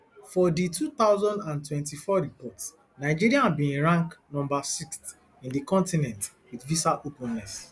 for di two thousand and twenty-four report nigeria bin rank number sixth in di continent wit visa openness